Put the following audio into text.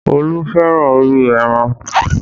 Olú fẹ́ràn orí ẹran